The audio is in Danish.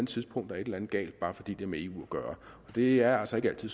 tidspunkt er et eller andet galt bare fordi det har med eu at gøre og det er altså ikke altid